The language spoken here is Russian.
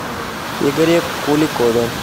игоре куликове